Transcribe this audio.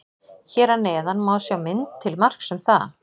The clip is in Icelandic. Hér að neðan má sjá mynd til marks um það.